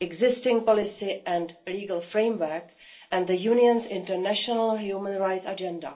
existing policy and legal framework and the Union's international human rights agenda.